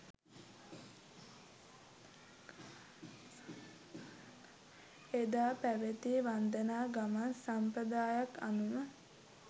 එදා පැවැති වන්දනා ගමන් සම්ප්‍රදාය අනුව